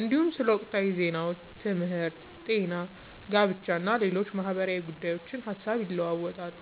እንዲሁም ስለ ወቅታዊ ዜናዎች፣ ትምህርት፣ ጤና፣ ጋብቻ እና ሌሎች ማህበራዊ ጉዳዮች ሐሳብ ይለዋወጣሉ።